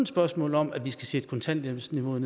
spørgsmål om at vi skal sætte kontanthjælpsniveauet